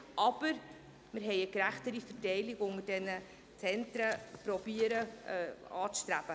Allerdings wir haben eine gerechtere Verteilung unter diesen Zentren anzustreben versucht.